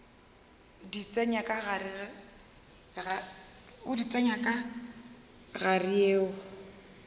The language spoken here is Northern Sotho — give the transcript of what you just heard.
di tsenya ka gare yeo